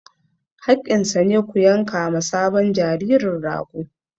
Haƙƙinsa ne, ku yanka ma sabon jaririn rago!